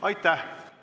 Aitäh!